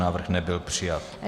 Návrh nebyl přijat.